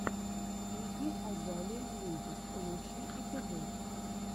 игги азалия мьюзик лучший эпизод